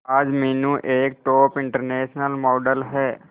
आज मीनू एक top international model है